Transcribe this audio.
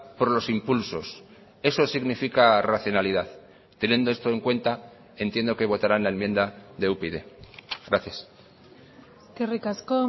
por los impulsos eso significa racionalidad teniendo esto en cuenta entiendo que votaran la enmienda de upyd gracias eskerrik asko